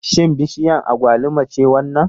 Shin bishiyar agwaluma ce wannan?